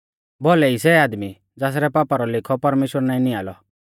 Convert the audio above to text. भौलै ई सै आदमी ज़ासरै पापा रौ लेखौ परमेश्‍वर नाईं नियां लौ